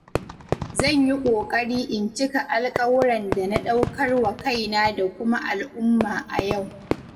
Zan yi ƙoƙari in cika alƙawuran da na ɗaukar wa kaina da kuma al'umma a yau.